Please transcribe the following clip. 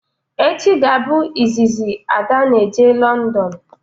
Echi ga abụ izizi Ada n'eje Londonu